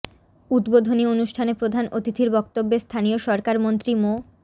উদ্বোধনী অনুষ্ঠানে প্রধান অতিথির বক্তব্যে স্থানীয় সরকার মন্ত্রী মো